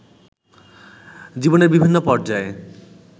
জীবনের বিভিন্ন পর্যায়ে